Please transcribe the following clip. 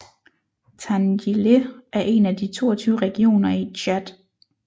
Tandjilé er en af de 22 regioner i Tchad